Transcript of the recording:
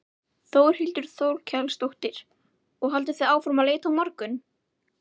Þórhildur Þorkelsdóttir: Og haldið þið áfram að leita á morgun?